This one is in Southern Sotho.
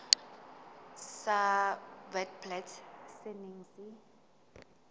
sa witblits se neng se